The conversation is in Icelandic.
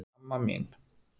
Amma mín!